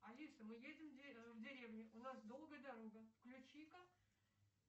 алиса мы едем в деревню у нас долгая дорога включи ка